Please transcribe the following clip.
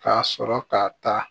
Ka sɔrɔ ka taa